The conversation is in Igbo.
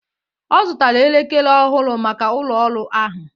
Ọ zụtara elekere ọhụrụ maka ụlọ ọrụ ahụ